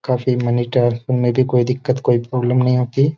काफी money transfer में भी कोई दिक्कत कोई प्रॉब्लम नहीं होती।